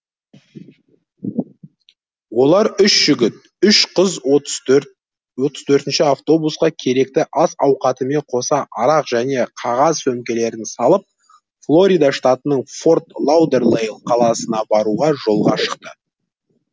олар үш жігіт үш қыз отыз төртінші автобусқа керекті ас ауқатымен қоса арақ және қағаз сөмкелерін салып флорида штатының форт лаудерлейл қаласына баруға жолға шықты